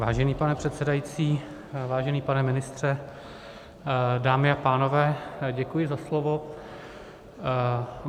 Vážený pane předsedající, vážený pane ministře, dámy a pánové, děkuji za slovo.